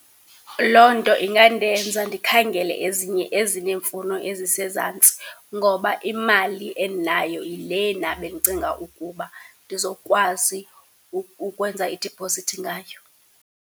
Loo nto ingandenza ndikhangele ezinye ezinye iimfuno ezisezantsi ngoba imali endinayo yile nam endicinga ukuba ndizokwazi ukwenza idiphozithi ngayo.